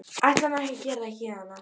Ætla mér ekki að gera það héðan af.